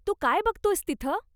तू काय बघतोयस तिथं?